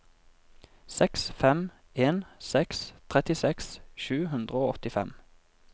seks fem en seks trettiseks sju hundre og åttifem